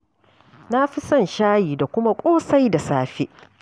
Na fi son shan shayi da kuma ƙosai da safe.